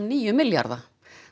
níu milljarða